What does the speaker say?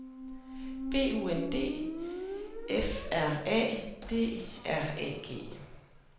B U N D F R A D R A G